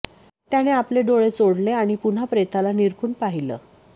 त्याने आपले डोळे चोळले आणि पुन्हा प्रेताला निरखून पाहिलं